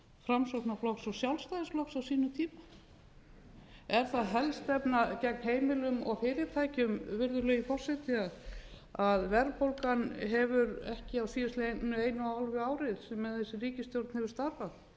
framsóknarflokks og sjálfstæðisflokks á sínum tíma er það helstefna gegn heimilum og fyrirtækjum virðulegi forseti að verðbólgan hefur ekki á síðastliðnu eina og hálfa ári sem þessi ríkisstjórn hefur starfað